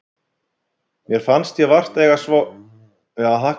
Mér fannst ég vart eiga svo góða vini skilið eins og ég hafði hagað mér.